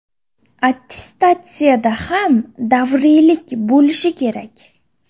Attestatsiyada ham davriylik bo‘lishi kerak.